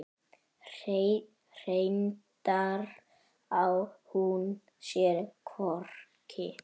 Reyndar á hún sér hvorki